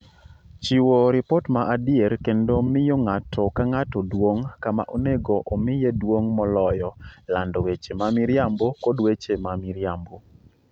chiwo ripot ma adier kendo miyo ng�ato ka ng�ato duong� kama onego omiye duong� moloyo lando weche ma miriambo kod weche ma miriambo